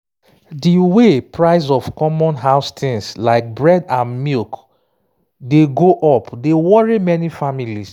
de way price of common house things like bread and milk dey go up dey worry many families.